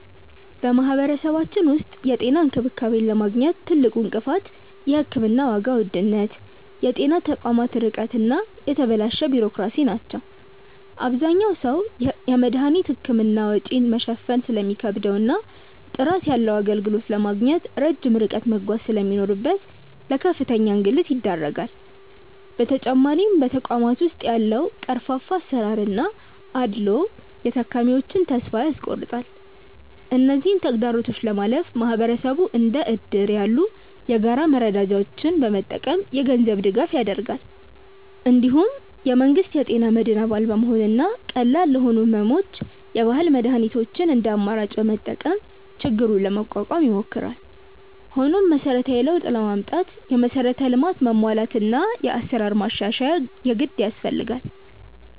በማህበረሰባችን ውስጥ የጤና እንክብካቤን ለማግኘት ትልቁ እንቅፋት የሕክምና ዋጋ ውድነት፣ የጤና ተቋማት ርቀት እና የተበላሸ ቢሮክራሲ ናቸው። አብዛኛው ሰው የመድኃኒትና የሕክምና ወጪን መሸፈን ስለሚከብደውና ጥራት ያለው አገልግሎት ለማግኘት ረጅም ርቀት መጓዝ ስለሚኖርበት ለከፍተኛ እንግልት ይዳረጋል። በተጨማሪም በተቋማት ውስጥ ያለው ቀርፋፋ አሰራርና አድልዎ የታካሚዎችን ተስፋ ያስቆርጣል። እነዚህን ተግዳሮቶች ለማለፍ ማህበረሰቡ እንደ እድር ያሉ የጋራ መረዳጃዎችን በመጠቀም የገንዘብ ድጋፍ ያደርጋል። እንዲሁም የመንግስት የጤና መድን አባል በመሆንና ቀላል ለሆኑ ሕመሞች የባህል መድኃኒቶችን እንደ አማራጭ በመጠቀም ችግሩን ለመቋቋም ይሞክራል። ሆኖም መሰረታዊ ለውጥ ለማምጣት የመሠረተ ልማት መሟላትና የአሰራር ማሻሻያ የግድ ያስፈልጋል።